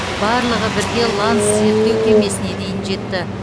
барлығы бірге ланс зерттеу кемесіне дейін жетті